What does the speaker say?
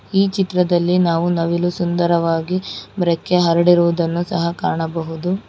ಈ ಚಿತ್ರದಲ್ಲಿ ನಾವು ನವಿಲು ಸುಂದರವಾಗಿ ರಕ್ಕೆ ಹರಡಿರುವುದನ್ನು ಸಹ ಕಾಣಬಹುದು.